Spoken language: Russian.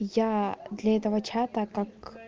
я для этого чата как